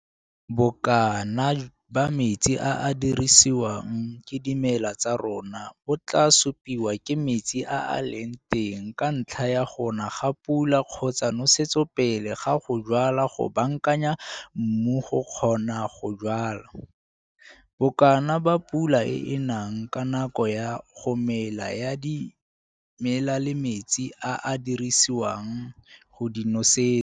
Bokana ba metsi a a dirisiwang ke dimela tsa rona bo tlaa supiwa ke metsi a a leng teng ka ntlha ya go na ga pula kgotsa nosetso pele ga go jwala go baakanya mmu go kgona go jwala, bokana ba pula e e nang ka nako ya go mela ya dimela le metsi a a dirisiwang go di nosetsa.